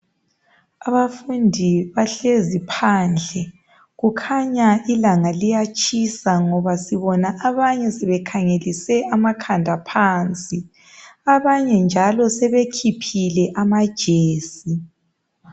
Abafundi bahlezi phansi phandle kukhanya ilanga liyatshisa ngoba sibona abafundi bekhangelise amakhanda phansi, abanye njalo sebekhiphile amajesi.